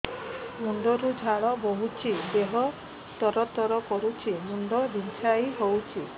ମୁଣ୍ଡ ରୁ ଝାଳ ବହୁଛି ଦେହ ତର ତର କରୁଛି ମୁଣ୍ଡ ବିଞ୍ଛାଇ ହଉଛି